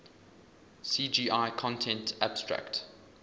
cgi content abstract